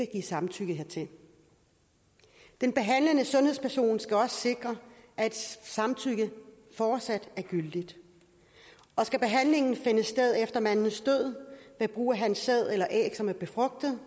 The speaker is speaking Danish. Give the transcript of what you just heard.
give samtykke hertil den behandlende sundhedsperson skal også sikre at samtykket fortsat er gyldigt skal behandlingen finde sted efter mandens død ved brug af hans sæd eller æg som er befrugtet